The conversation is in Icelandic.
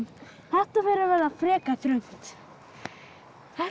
þetta fer að verða frekar þröngt þetta